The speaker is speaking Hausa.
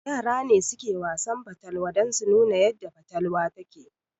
Yara ne suke Wasan fatalwa dan su nuna yadda fatalwa yake